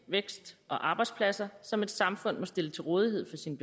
vækst og arbejdspladser som et samfund må stille til rådighed for sin